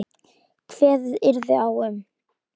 Kveðið yrði á um